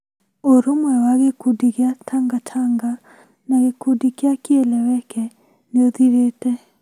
Ũrũmwe wa gĩkundi kĩa Tangatanga na gĩkundi kĩa Kieleweke nĩ ũthirĩte ,